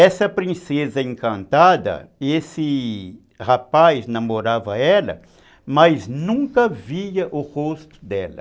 Essa princesa encantada, esse rapaz namorava ela, mas nunca via o rosto dela.